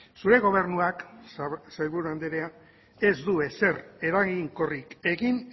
zure gobernuak sailburu andrea ez du ezer eraginkorrik egin